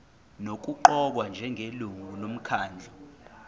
nokuqokwa njengelungu lomkhandlu